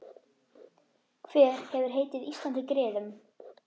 Hver hefur heitið Íslandi griðum?